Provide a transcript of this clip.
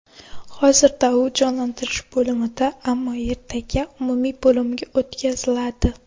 Hozirda u jonlantirish bo‘limida, ammo ertaga umumiy bo‘limga o‘tkaziladi.